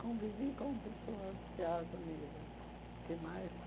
Convivi com pessoas de alto nível, que mais?